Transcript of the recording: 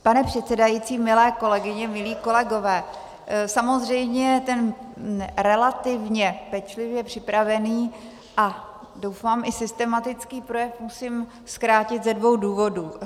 Pane předsedající, milé kolegyně, milí kolegové, samozřejmě ten relativně pečlivě připravený a doufám i systematický projev musím zkrátit ze dvou důvodů.